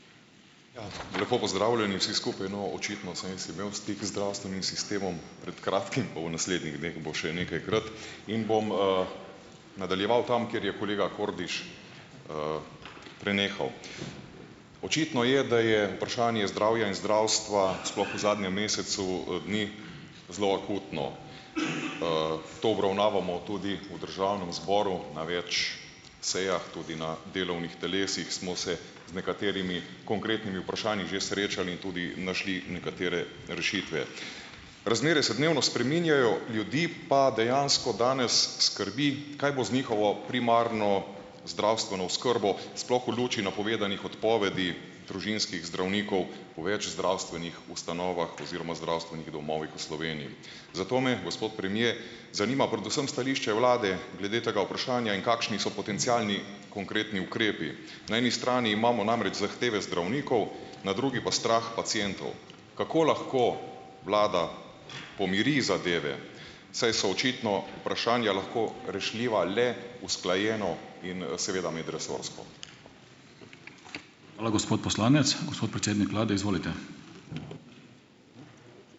Ja, lepo pozdravljeni vsi skupaj. No, očitno sem jaz imel stik z zdravstvenim sistemom pred kratkim, pa v naslednjih dneh bo še nekajkrat. In bom, nadaljeval tam, kjer je kolega Kordiš, prenehal. Očitno je, da je vprašanje zdravja in zdravstva, sploh v zadnjem mesecu, dni, zelo akutno. To obravnavamo tudi v državnem zboru na več sejah, tudi na delovnih telesih smo se z nekaterimi konkretnimi vprašanji že srečali in tudi našli nekatere rešitve. Razmere se dnevno spreminjajo, ljudi pa dejansko danes skrbi, kaj bo z njihovo primarno zdravstveno oskrbo, sploh v luči napovedanih odpovedi družinskih zdravnikov v več zdravstvenih ustanovah oziroma zdravstvenih domovih v Sloveniji. Zato me, gospod premier, zanima predvsem stališče vlade glede tega vprašanja in kakšni so potencialni konkretni ukrepi. Na eni strani imamo namreč zahteve zdravnikov, na drugi pa strah pacientov. Kako lahko vlada pomiri zadeve, saj so očitno vprašanja lahko rešljiva le usklajeno in, seveda medresorsko. Hvala, gospod poslanec. Gospod predsednik vlade, izvolite.